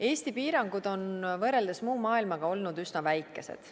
Eesti piirangud on võrreldes muu maailmaga olnud üsna väikesed.